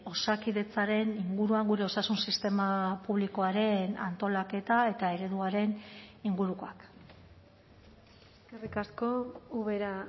osakidetzaren inguruan gure osasun sistema publikoaren antolaketa eta ereduaren ingurukoak eskerrik asko ubera